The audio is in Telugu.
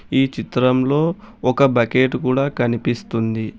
ఈ చిత్రం లో ఒక బకెట్ కూడా కనిపిస్తుంది.